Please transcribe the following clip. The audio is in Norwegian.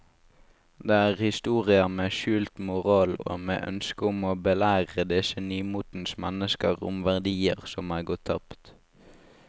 Det er historier med skjult moral og med ønske om å belære disse nymotens mennesker om verdier som er gått tapt.